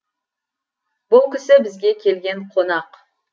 бұл кісі бізге келген қонақ